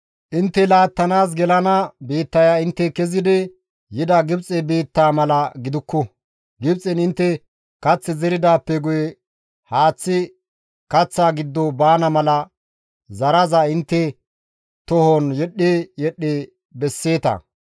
Intte laattanaas gelana biittaya intte kezidi yida Gibxe biittaa mala gidukku; Gibxen intte kath zeridaappe guye haaththi kaththa giddo baana mala zaraza intte tohon yedhdhi yedhdhi besseeta.